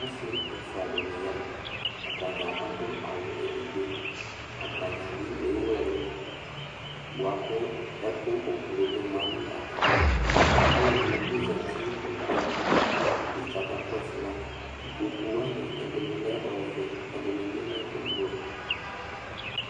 Ɔsi ɛfʋa dìŋí ya Atadza aɖu awu ɛɖigbo atadza bi ewu ɛlu bʋakʋ ɛku ʋblue ɖi ma ŋu atami iɖu Alʋɛdìní zɛti ŋu ikpoku li kʋ aka kɔsu ma Kpoku waŋi bi, ɛɖìní lɛ ɔvɛ Ɛɖìní bi lɛ ʋblue